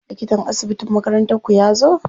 Likatan asibitin makarantar ku yazo?